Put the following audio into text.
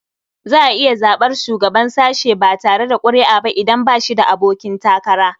Za a iya zaɓar shugaban sashe ba tare da ƙuri'a ba idan ba shi da abokin takara.